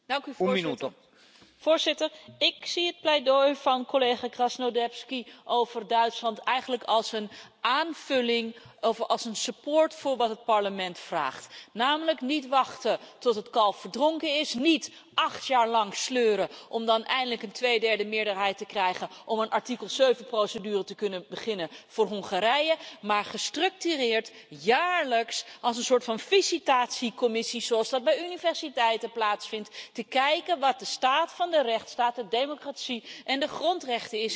Voorzitter, ik zie het pleidooi van collega Krasnodębski over Duitsland eigenlijk als een aanvulling, als een ondersteuning voor wat het Parlement vraagt, namelijk niet wachten tot het kalf verdronken is, niet acht jaar lang sleuren om dan eindelijk een tweederdemeerderheid te krijgen om een artikel 7-procedure te kunnen beginnen voor Hongarije, maar gestructureerd, jaarlijks, als een soort van visitatiecommissie, zoals dat bij universiteiten plaatsvindt, te kijken wat de staat van de rechtsstaat, de democratie en de grondrechten is in iedere lidstaat.